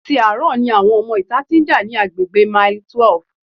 Àti àárọ̀ ni àwọn ọmọ ìta tí ń já ní agbègbè mile twelve.